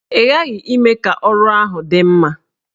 Ị ghaghị ime ka ọrụ ahụ dị mma!